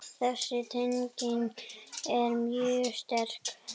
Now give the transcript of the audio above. Þessi tenging er mjög sterk.